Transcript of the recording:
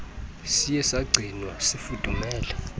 siye sagcinwa sifudumele